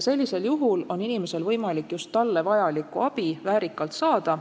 Sellisel juhul on inimesel võimalik just talle vajalikku abi väärikalt saada.